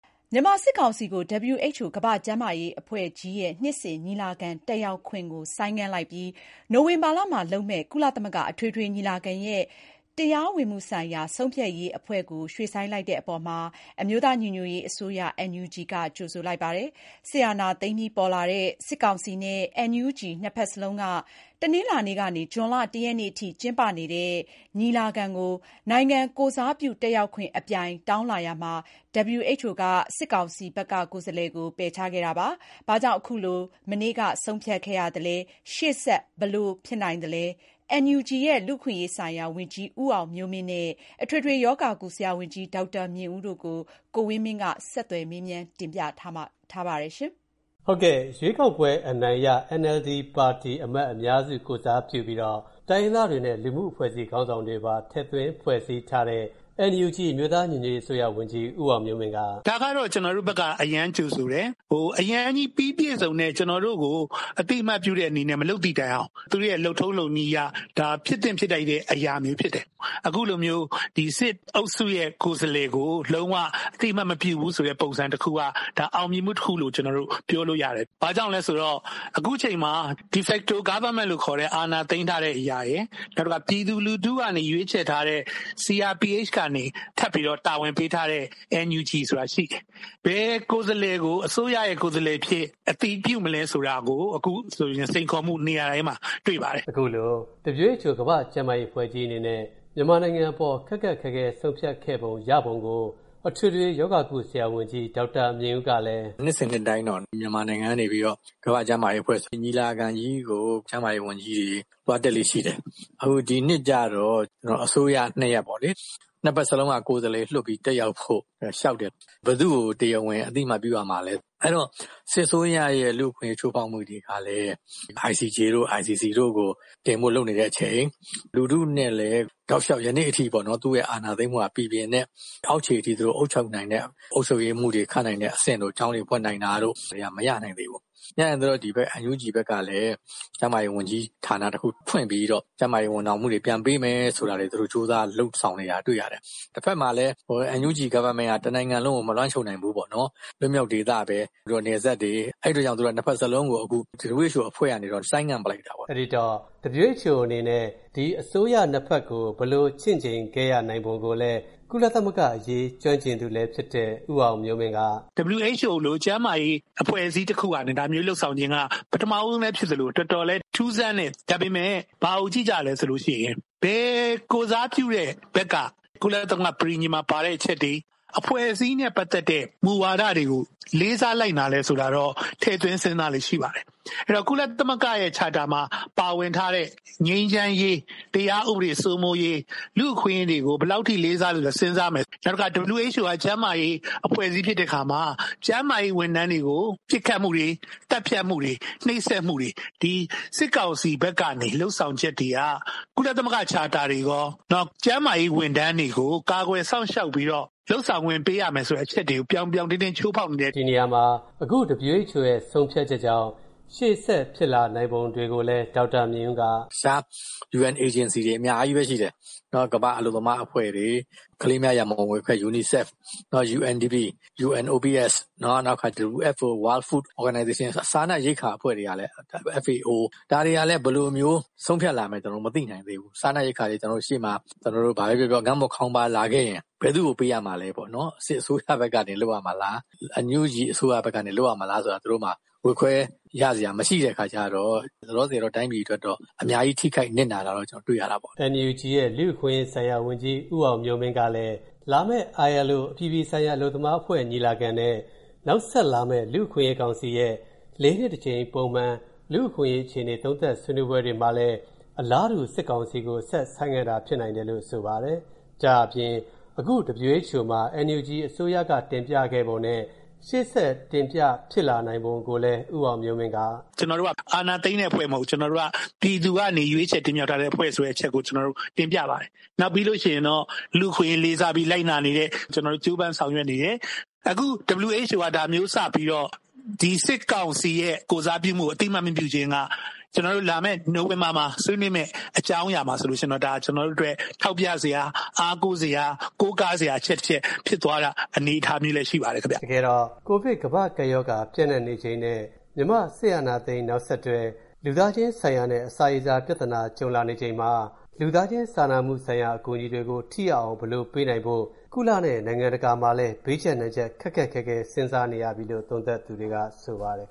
မြန်မာစစ်ကောင်စီကို WHO ကမ္ဘာ့ကျန်းမာရေးအဖွဲ့ရဲ့ နှစ်စဉ်ညီလာခံ တက်ရောက်ခွင့် ဆိုင်းငံ့လိုက်ပြီး၊ နိုဝင်ဘာမှာလုပ်မဲ့ ကုလအထွေထွေညီလာခံရဲ့ တရားဝင်မူဆိုင်ရာဆုံးဖြတ်ရေးအဖွဲ့ကို ရွေ.ဆိုင်းလိုက်တဲ့အပေါ်၊ အမျိုးသားညီညွှတ်ရေးအစိုးရ က ကြိုဆိုလိုက်ပါတယ်။ စစ်အာဏာသိမ်းအပြီးပေါ်လာတဲ့ ဒီ အစိုးရ ၂ ခုလုံးက၊ အခု တနင်္လာကနေ ဇွန်လ ၁ ရက်ထိကျင်းပနေတဲ့ ဒီညီလာခံကို နိုင်ငံကိုယ်စားပြုတက်ရောက်ခွင့် အပြိုင်တောင်းလာရာမှာ၊ ဘာကြောင့်ခုလို မနေ့က ဆုံးဖြတ်ခဲ့ရပြီး၊ ရှေ့ဆက်ဘယ်လိုဖြစ်လာနိုင်ပါလဲ။ NUG ရဲ့ လူအခွင့်အရေးဆိုင်ရာဝန်ကြီး ဦးအောင်မျိုးမင်းနဲ့ မြန်မာနိုင်ငံထဲက အထွေထွေရောဂါကုဆရာဝန်ကြီး ဒေါက်တာမြင့်ဦးတို့ကို ကိုဝင်းမင်းက မေးထားပါတယ်။ ရွှေးကောက်ပွဲအနိုင်ရ ပါတီအမတ်အများစု ကိုယ်စားပြုပြီးတော့ တိုင်းရင်းသားတွေနဲ့ လူမှု့အဖွဲ့အစည်းခေါင်းဆောင်တွေပါ ထည့်သွင်းဖွဲ့စည်းထားတဲ့ အမျိုးသားညီညွှတ်ရေးအစိုးရဝန်ကြီး ဦးအောင်မျိုးမင်းက “ဒါကတော့ ကျနော်တို့ဘက်က အရမ်းကြိုဆိုတယ်။ အရမ်းကြီး ပြီးပြည့်စုံတဲ့ ကျနော်တို့ကို အသိအမှတ်ပြုတဲ့အနေနဲ့ မလုပ်သည့်တိုင်အောင် သူတို့ရဲ့ လုပ်ထုံးလုပ်နည်းအရ ဒါဖြစ်သင့်ဖြစ်ထိုက်တဲ့ အရာတွေဖြစ်တယ်။ အခုလိုမျိုး စစ်အုပ်စုရဲ့ ကိုယ်စားလှယ်ကို လုံး၀ အသိအမှတ်မပြုဘူးဆိုတဲ့ ပုံစံတခုက ဒါအောင်မြင်မှုတခုလို့ ကျနော်တို့ ပြောလို့ရတယ်။ ဘာကြောင့်လဲဆိုတော့ အခုအချိန်မှာ De facto government လို့ခေါ်တဲ့ အာဏာသိမ်းထားတဲ့အရာရယ် နောက်တခါ ပြည်သူလူထုကနေ ရွေးချယ်ထားတဲ့ CRPH ကနေ ထပ်ပြီးတော့ တာဝန်ပေးထားတဲ့ NUG ဆိုတာရှိတယ်။ ဘယ်ကိုယ်စားလှယ်ကို အစိုးရရဲ့ ကိုယ်စားလှယ်အဖြစ် အတည်ပြုမလဲဆိုတာကို အခုဆိုရင် စိန်ခေါ်မှု နေရာတိုင်းမှာ တွေ့ပါတယ်။” အခုလို WHO ကမ္ဘာ့ကျန်းမာရေးအဖွဲ့ကြီးအနေနဲ့ မြန်မာနိုင်ငံအပေါ် ခက်ခက်ခဲခဲ ဆုံးဖြတ်ခဲ့ရပုံကို အထွေထွေရောဂါကုဆရာဝန်ကြီး ဒေါက်တာမြင့်ဦးကလည်း “နှစ်စဉ် နှစ်တိုင်းတော့ မြန်မာနိုင်ငံကနေပြီးတော့ ကမ္ဘာ့ကျန်းမာရေးအဖွဲ့ကြီးညီလာခံကြီးကို ကျန်းမာရေးဝန်ကြီးတွေ သွားတက်လေ့ရှိတယ်။ အခုဒီနှစ်ကျတော့ အစိုးရ ၂ ရပ်ပေါ့လေ ၂ ဖက်စလုံးက ကိုယ်စားလှယ်လွှတ်ပြီးတက်ရောက်ဖို့ လျှောက်တယ်၊ ဘယ်သူ့ကို တရားဝင်အသိအမှတ်ပြုရမလဲ။ အဲဒီတော့ စစ်အစိုးရရဲ့ လူ့အခွင့်အရေးချိုးဖောက်မှုတွေကလည်း ICJ တို့ ICC တို့မှာ တင်ဖို့ လုပ်နေတဲ့အချိန် လူထုနဲ့လည်း တောက်လျှောက် ယနေ့အထိပေါ့နော် ၊ အာဏာသိမ်းမှုက ပီပီပြင်ပြင်နဲ့ အောက်ခြေအထိ အုပ်ချုပ်နိုင်တဲ့ အုပ်ချုပ်ရေးမှူးတွေ ခန့်နိုင်တဲ့အဆင့်တို့ ကျောင်းတွေဖွင့်နိုင်တာတို့က မရနိုင်သေးဘူးပေါ့။ မရနိုင်သေးတော့ ဒီဘက် NUG ဘက်ကလည်း ကျန်းမာရေးဝန်ကြီးဌာန တခုဖွင့်ပြီးတော့ ကျန်းမာရေးဝန်ဆောင်မှုတွေ ပြန်ပေးမယ်ဆိုတာတွေ သူတို့ ကြိုးစားလုပ်ဆောင်နေတာတွေ့ရတယ်။ တဖက်မှာလည်း NUG government က တနိုင်ငံလုံးက မလွှမ်းခြုံနိုင်ဘူးပေါေ့နာ်။ လွှတ်မြောက်ဒေသ၊ နယ်စပ်တွေ၊ အဲဒီတော့ သူတို့က ၂ ဖက်စလုံးကို WHO အဖွဲ့ကနေပြီးတော့ ဆိုင်းငံ့လိုက်တာပေါ့။” အဲဒီတော့ WHO အနေနဲ့ ဒီအစိုးရ ၂ ဖက်ကို ဘယ်လိုချင့်ချိန်ခဲ့ရပုံကိုလည်း ကုလသမဂ္ဂအရေး ကျွမ်းကျင်သူလည်းဖြစ်တဲ့ ဦးအောင်မျိုးမင်းက “WHO လို ကျန်းမာရေးအဖွဲ့အစည်းတခုက ဒါမျိုးလုပ်ဆောင်ခြင်းက ပထမဦးဆုံးလည်းဖြစ်သလို တော်တော်လည်း ထူးဆန်းတယ်။ ဒါပေမယ့် ဘာကိုကြည့်ကြသလဲဆိုရင် ဘယ်ကိုယ်စားပြုတဲ့ဘက်က ကုလသမဂ္ဂ ပဋိညာဉ် မှာ ပါတဲ့အချက်တွေ အဖွဲ့အစည်းနဲ့ ပတ်သက်တဲ့ မူဝါဒတွေကို လေးစားလိုက်နာသလဲဆိုတာတော့ ထည့်သွင်းစဉ်းစားလေ့ရှိပါတယ်။ အဲဒီတော့ ကုလသမဂ္ဂ Charter မှာ ပါဝင်ထားတဲ့ ငြိမ်းချမ်းရေး၊ တရားဥပဒေစိုးမိုးရေး ၊ လူ့အခွင့်အရေးတွေကို ဘယ်လောက်အထိ လေးစားလိုက်နာမလဲဆိုတာ စဉ်းစားမယ်။ နောက်တခါ WHO က ကျန်းမာရေး အဖွဲ့အစည်းဖြစ်တဲ့အခါမှာ ကျန်းမာရေးဝန်ထမ်းတွေကို ပစ်ခတ်မှုတွေ သတ်ဖြတ်မှုတွေ နှိပ်စက်မှုတွေ စစ်ကောင်စီဘက်ကနေ လုပ်ဆောင်ချက်တွေက ကုလသမဂ္ဂ Charterတွေရော ၊ နောက် ကျန်းမာရေးဝန်ထမ်းတွေကို ကာကွယ်စောင့်ရှောက်ပြီးတော့ လုပ်ဆောင်ခွင့်ပေးရမယ်ဆိုတဲ့ အချက်တွေကို ပြောင်ပြောင်တင်းတင်းချိုးဖောက်နေတယ်။” ဒီနေရာမှာ အခု WHO ဆုံးဖြတ်ချက်ကြောင့် ရှေ့ဆက်ဖြစ်လာနိုင်ပုံကိုလည်း ဒေါက်တာမြင့်ဦးက “ တခြား UN agency တွေအများကြီးပဲ ရှိတယ်။ ကမ္ဘာ့အလုပ်သမားအဖွဲ့တွေ၊ ကလေးများ ရန်ပုံငွေအဖွဲ့တွေ UNICEF ၊ UNDP ၊ UNOPS နောက်တခါ WFO စားနပ်ရိက္ခာအဖွဲ့ FAO ဒါတွေကလည်း ဘယ်လိုမျိုး ဆုံးဖြတ်လာနိုင်မလဲဆိုတာ မသိနိုင်သေးဘူး။ စားနပ်ရိက္ခာတွေ ဘာပဲပြောပြော ကျနော်တို့ ငတ်မွတ်ခေါင်းပါးလာခဲ့ရင် ဘယ်သူ့ကို ပေးရမလဲပေါ့နော်။ စစ်အစိုးရဘက်ကနေ လုပ်ရမှာလား NUG အစိုးရဘက်ကနေ လုပ်ရမလားဆိုတာ သူတို့မှာ ဝေခွဲရစရာ မရှိတဲ့အခါမှာ လောလောဆည်တော့ တိုင်းပြည်အတွက်တော့ အများကြီး ထိခိုက်နစ်နာတာတော့ ကျနော်တွေ့ရတာပေ့ါ။” NUG ရဲ့ လူအခွင့်အရေးဆိုင်ရာဝန်ကြီး ဦးအောင်မျိုးမင်း ကလည်း လာမယ့် ILO အပြည်ပြည်ဆိုင်ရာ အလုပ်သမား အဖွဲ့ညီလာခံနဲ့ နောက်ဆက်လာမယ့် လူ့အခွင့်အရေး ကောင်စီရဲ့ ၄ နှစ်တကြိမ် ပုံမှန် လူ့အခွင့်အရေးအခြေအနေ သုံးသပ် ဆွေးနွေးပွဲတွေမှာလည်း အလားတူ စစ်ကောင်စီကို ဆက် ဆိုင်းငံတာလည်း ဖြစ်နိုင်တယ်လို့ ဆိုပါတယ်။ ဒါ့အပြင် အခု WHO မှာ NUG အစိုးရ တင်ပြခဲ့ပုံနဲ့ ရှေ့ဆက်တင်ပြဖို့ ဖြစ်လာနိုင်ပုံကိုလည်း ဦးအောင်မျိုးမင်း က “ ကျနော်တို့က အာဏာသိမ်းတဲ့အဖွဲ့မဟုတ်ဘူး ပြည်သူကနေ ရွေးချယ်တင်မြောက်ထားတဲ့အဖွဲ့ဆိုတဲ့အချက်ကို ကျနော်တို့ တင်ပြပါတယ်။ နောက်ပြီးရင်တော့ လူအခွင့်အရေးလေးစားပြီး လိုက်နာနေတယ်၊ ကျနော်တို့ ကြိုးပမ်းဆောင်ရွက်နေတယ်။ အခု WHO က ဒါမျိုးစပြီးတော့ ဒီစစ်ကောင်စီရဲ့ ကိုယ်စားပြုမှုကို အသိအမှတ်မပြုချင်းက ကျနော်တို့ လာမယ့် နိုဝင်ဘာမှာဆွေးနွေးမယ့် အကြောင်းအရာမှာဆိုရင်တော့ ဒါကျနော်တို့အတွက် ထောက်ပြစရာ၊ အားကိုးစရာ၊ ကိုးကားစရာ အချက် ၁ ချက် ဖြစ်သွားတဲ့ အနေအထားမျိုးလည်း ရှိပါတယ်ခင်ဗျ။” တကယ်တော့ COVID ကမ္ဘာ့ကပ်ရောဂါ ပျံ့နှံ့နေချိန်နဲ့ မြန်မာစစ်အာဏာသိမ်း နောက်ဆက်တွဲ လူသားချင်းဆိုင်ရာနဲ့ အစာရေစာ ပြဿနာ ကြုံလာနေချိန်မှာ လူသားချင်းစာနာမှုဆိုင်ရာ အကူအညီတွေကို ထိရောက်အောင် ဘယ်လိုပေးနိုင်ဖို့ ကုလနဲ့ နိုင်ငံတကာမှာလည်း ဘေးကျပ်နံကျပ်ခက်ခက်ခဲခဲ စဉ်းစားနေရပြီလို့ သုံးသပ်သူတွေက ဆိုပါတယ်